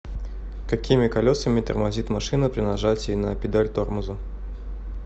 какими колесами тормозит машина при нажатии на педаль тормоза